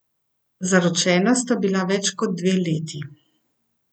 Zaročena sta bila več kot dve leti.